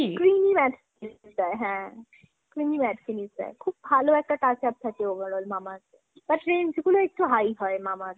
creamy matte finish দেয় হ্যাঁ creamy matte finish দেয়। খুব ভালো একটা touch up থাকে overall Mamaearth ।but range গুলো একটু highহয় Mamaearth এর। তবে আমি শুনেছি খুব ভালো product